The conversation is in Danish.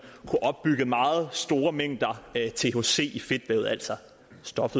kunne opbygge meget store mængder thc i fedtlaget altså det stof